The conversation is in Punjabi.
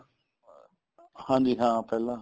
ਹਾਂਜੀ ਹਾਂ ਪਹਿਲਾਂ